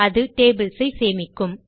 அது டேபிள்ஸ் ஐ சேமிக்கும்